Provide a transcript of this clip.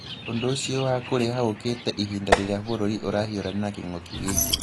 ũndũ ũcio wa kũrĩha ũũkĩte ihinda rĩrĩa bũrũri ũrahiũrania na king'uki gĩkĩ.